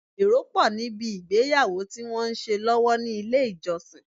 Èrò pọ̀ ní bi ìgbéyàwó tí wọ́n ń ṣe lọ́wọ́ ní ilé ìjọsìn.